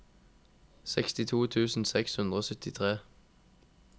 sekstito tusen seks hundre og syttitre